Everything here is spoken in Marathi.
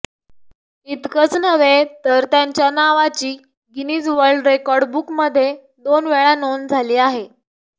इतकंच नव्हे तर त्यांच्या नावाची गिनीज वर्ल्ड रेकॉर्ड बुकमध्ये दोन वेळा नोंद झाली आहे